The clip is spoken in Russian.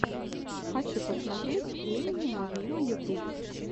хочу посмотреть эминема виво ютуб